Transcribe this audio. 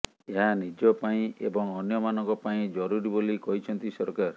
ଏହା ନିଜ ପାଇଁ ଏବଂ ଅନ୍ୟମାନଙ୍କ ପାଇଁ ଜରୁରୀ ବୋଲି କହିଛନ୍ତି ସରକାର